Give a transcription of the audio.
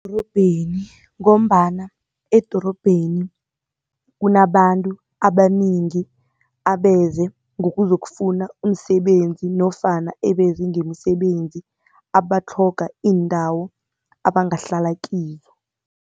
Edorobheni, ngombana edorobheni kunabantu abanengi abeze ngokuzokufuna umsebenzi, nofana ebeze ngemisebenzi, abatlhoga iindawo abangahlala kiyo.